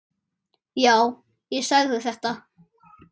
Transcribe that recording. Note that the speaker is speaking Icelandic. Já, ég sagði þetta.